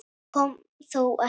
Til þess kom þó ekki.